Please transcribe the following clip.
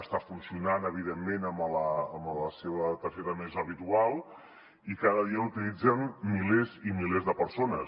està funcionant evidentment amb la seva targeta més habitual i cada dia l’utilitzen milers i milers de persones